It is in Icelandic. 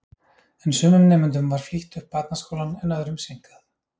En sumum nemendum var flýtt upp barnaskólann en öðrum seinkað.